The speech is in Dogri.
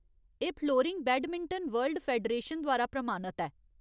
एह् फ्लोरिंग बैडमिंटन वर्ल्ड फेडरेशन द्वारा प्रमाणत ऐ।